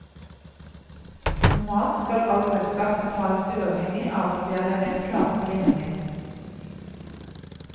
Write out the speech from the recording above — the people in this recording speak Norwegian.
Normalt skal restskatt betales uavhengig av om det er levert klage på ligningen.